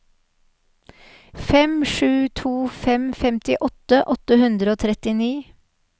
fem sju to fem femtiåtte åtte hundre og trettini